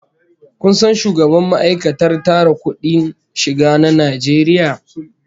Ko san shugaban ma'aikatar tara kudin shiga na Najeriya?